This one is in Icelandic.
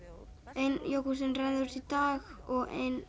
ein jógúrtin rennur út í dag og ein